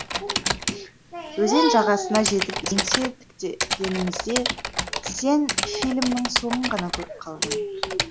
өзен жағасына жетіп еңсе тіктегенімізде сен фильмнің соңын ғана көріп қалдың